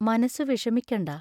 മനസ്സു വിഷമിക്കണ്ട.